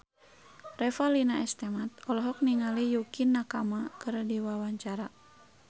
Revalina S. Temat olohok ningali Yukie Nakama keur diwawancara